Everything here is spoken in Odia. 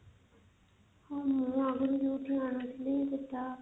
ହଁ ମୁଁ ଆଗରୁ ଯୋଉଠୁ ଅଣୁଥିଲି ସେଟା